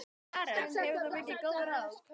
Karen: Hefur þú fengið góð ráð?